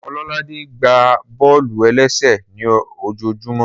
Ọlọ́ládé gbá bọ́ọ̀lù-ẹlẹ́sẹ̀ ní ojojúmọ́